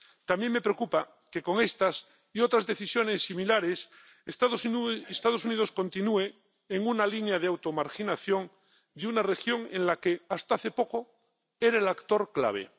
También me preocupa que con estas y otras decisiones similares los Estados Unidos continúen en una línea de automarginación de una región en la que hasta hace poco eran el actor clave.